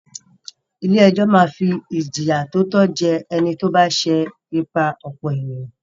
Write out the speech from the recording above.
Ilé-ẹjọ́ máa fi ìjìyà tó tọ́ jẹ ẹni tó bá ṣẹ ìpà-ọ̀pọ̀-ènìyàn.